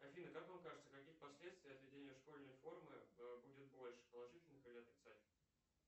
афина как вам кажется каких последствий от введения школьной формы будет больше положительных или отрицательных